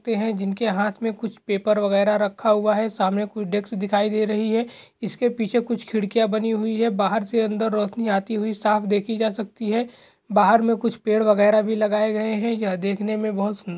जिनके हाथ में कुछ पेपर वगैरा रखा हुआ है सामने कुछ डेस्क दिखाई दे रही हैं इसके पीछे कुछ खिड़कियाँ बनी हुई हैं । बाहर से अंदर रोशनी आती हुई साफ देखी जा सकती है। बाहर में कुछ पेड़ वगैरा भी लगाए गए हैं यह देखने में बोहत सुन्द --